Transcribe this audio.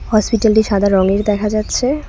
হসপিটালটি সাদা রঙের দেখা যাচ্ছে।